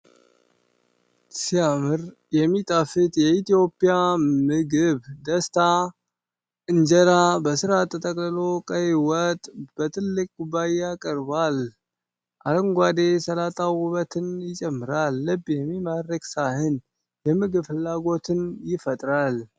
ሲያምር! የሚጣፍጥ የኢትዮጵያ ምግብ! ደስታ! እንጀራ በስርዓት ተጠቅልሎ፣ ቀይ ወጥ በትልቅ ኩባያ ቀርቧል። አረንጓዴ ሰላጣው ውበትን ይጨምራል። ልብ የሚማርክ ሳህን! የምግብ ፍላጎትን ይፈጥራል።